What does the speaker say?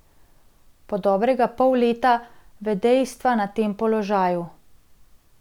Po dobrega pol leta vedejevstva na tem položaju.